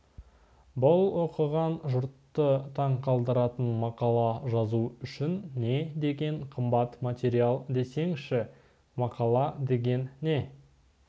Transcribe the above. бұл оқыған жұртты таң қалдыратын мақала жазу үшін не деген қымбат материал десеңізші мақала деген не